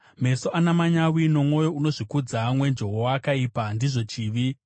Meso ana manyawi nomwoyo unozvikudza, mwenje woakaipa, ndizvo chivi!